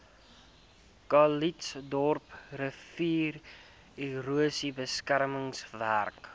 calitzdorp riviererosie beskermingswerke